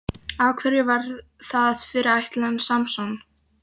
Af hverju var það fyrirætlan Samson?